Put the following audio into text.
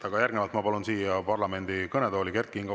Aga järgnevalt ma palun siia parlamendi kõnetooli Kert Kingo.